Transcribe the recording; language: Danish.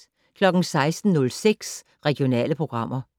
16:06: Regionale programmer